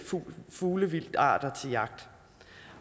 fuglevildtarter til jagt